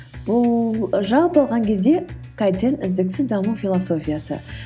бұл жалпы алған кезде кайдзен үздіксіз даму философиясы